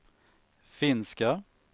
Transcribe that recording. finska